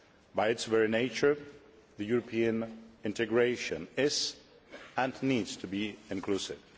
By its very nature, European integration is and needs to be inclusive.